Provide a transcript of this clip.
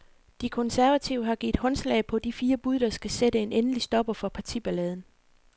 De konservative har givet håndslag på de fire bud, der skal sætte en endelig stopper for partiballaden.